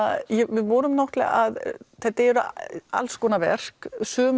við vorum þetta eru alls konar verk sum